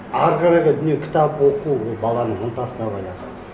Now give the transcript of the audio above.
әрі қарайғы дүние кітап оқу ол баланың ынтасына байланысты